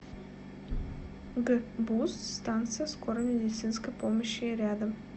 гбуз станция скорой медицинской помощи рядом